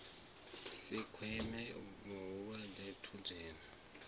si kwame mulwadze a thuthiwe